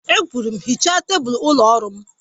E kwuru m, hichaa tebụl ụlọ ọrụ m!